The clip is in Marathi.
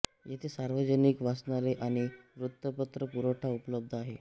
येथे सार्वजनिक वाचनालय आणि वृत्तपत्र पुरवठा उपलब्ध आहे